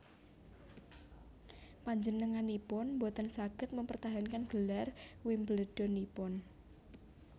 Panjenenganipun boten saged mempertahankan gelar Wimbledon ipun